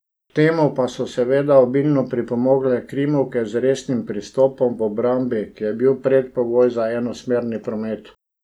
K temu pa so seveda obilno pripomogle krimovke z resnim pristopom v obrambi, ki je bil predpogoj za enosmerni promet.